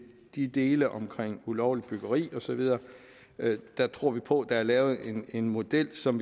de dele om ulovligt byggeri og så videre tror vi på at der er lavet en model som